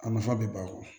A nafa bɛ ban